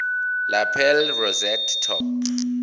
lapel rosette top